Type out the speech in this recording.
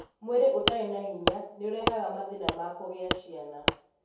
Mwĩrĩ ũtarĩ na hinya nĩ ũrehaga mathĩna ma kũgĩa ciana.